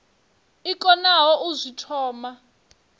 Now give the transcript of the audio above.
i konaho u zwi thoma